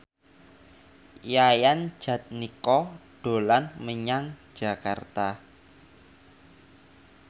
Yayan Jatnika dolan menyang Jakarta